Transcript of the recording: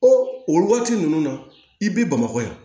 o waati ninnu na i b'i bamakɔ ye